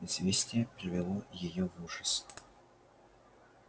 известие привело её в ужас